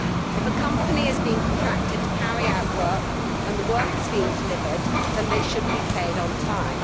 If a company is being contracted to carry out work and the work has been delivered, then it should be paid on time.